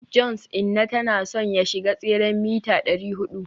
johns inna tana son ya shiga tseren mita dari hudu